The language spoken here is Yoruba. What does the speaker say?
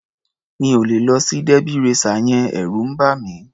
Mi ò lè lọ sí derby racer yẹn. Ẹ̀rù ń bà mí.